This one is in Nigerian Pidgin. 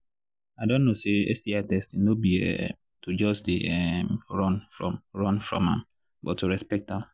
i don know say sti testing no be um to just they um run from run from am but to respect am